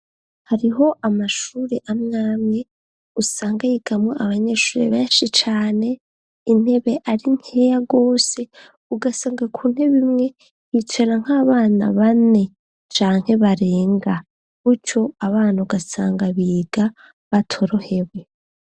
Hariho amashure amwamwe usanga yigamo abanyeshure benshi cane intebe ari nkeya gose ugasanga kuntebe imwe bicara nk'abana bane, canke barenga buco abana ugasanga biga batorohewe.